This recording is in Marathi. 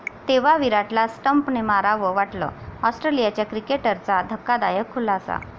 तेव्हा' विराटला स्टंपने मारावं वाटलं, आॅस्ट्रेलियाच्या क्रिकेटरचा धक्कादायक खुलासा